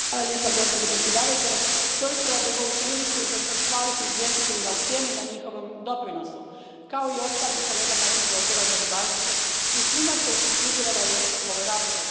Poštovana predsjedavajuća, iskoristila bih ovu priliku i zahvalila izvjestiteljima u sjeni na njihovom doprinosu, kao i ostalim kolegama iz Odbora za ribarstvo i svima koji su sudjelovali u ovoj raspravi.